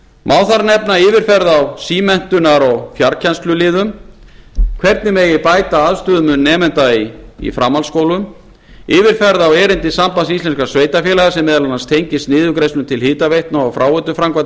má þar nefna yfirferð á símenntunar og fjarkennsluliðum hvernig bæta megi aðstöðumun nemenda í framhaldsskólum yfirferð á erindi sambands íslenskra sveitarfélaga sem meðal annars tengist niðurgreiðslum til hitaveitna og fráveituframkvæmdum